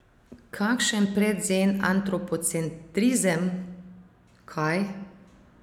Kakšen predzen antropocentrizem, kaj?